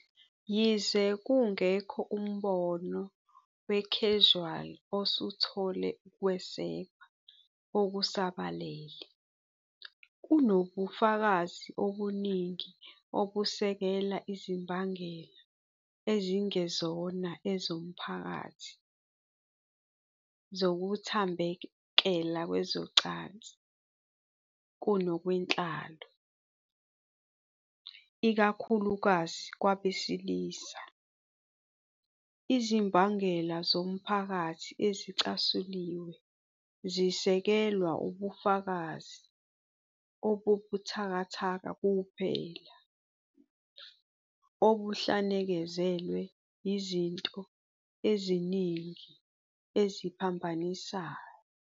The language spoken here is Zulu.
Yize kungekho mbono we-causal osuthole ukwesekwa okusabalele, kunobufakazi obuningi obusekela izimbangela ezingezona ezomphakathi zokuthambekela kwezocansi kunokwenhlalo, ikakhulukazi kwabesilisa. Izimbangela zomphakathi ezicasuliwe zisekelwa ubufakazi obubuthakathaka kuphela, obuhlanekezelwe yizinto eziningi eziphambanisayo.